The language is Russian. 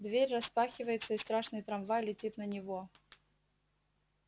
дверь распахивается и страшный трамвай летит на него